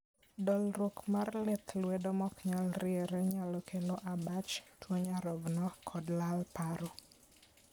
dolruok mar lith lwedo ma oknyal riere nyalo kelo abach, tuo nyarogno, kod lal paro